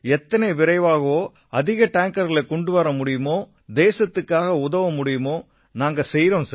எத்தனை விரைவா அதிகமான டேங்கர்களைக் கொண்டு வர முடியுமோ தேசத்துக்கு உதவ முடியுமோ நாங்க செய்யறோம் சார்